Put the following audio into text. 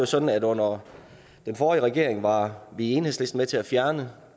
sådan at under den forrige regering var vi i enhedslisten med til at fjerne